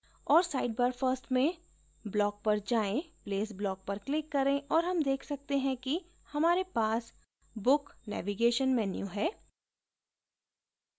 और sidebar first में block पर जायें place block पर क्लिक करें और हम देख सकते हैं कि हमारे पास book navigation menu है